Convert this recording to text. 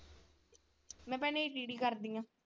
ਮੈਂ ਭੈਣੇ ਕਰਦੀ ਆ।